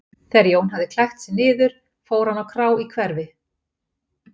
Þegar Jón hafði klætt sig niður fór hann á krá í hverfi